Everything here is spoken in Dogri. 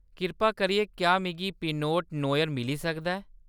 कृपा करियै, क्या मिगी पिनोट नोयर मिली सकदा ऐ।